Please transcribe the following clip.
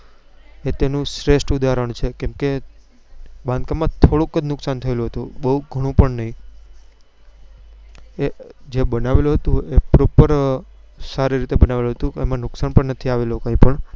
તે તેનું શ્રેષ્ઠ ઉદાહરણ છે કે તે બાંધકામ માં થોડુક જ નુકસાન થયેલું હતું બઉ ગણું પણ નહિ એ જે બનાવેલું હતું એ proper સારી રીતે બનાવેલું હતું એમાં નુકસાન પણ નથી આવેલું કઈ પણ